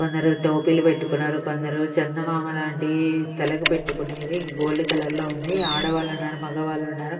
కొందరు టోపీలు పెట్టుకున్నారు కొందరు చందమామ లాంటి తలకు పట్టుకొనేది గోల్డ్ కలర్ లో ఉంది ఆడవాళ్ళున్నారు మగవాళ్ళున్నారు.